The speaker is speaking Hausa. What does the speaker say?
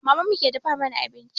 Maman mu ke dafa mana abinci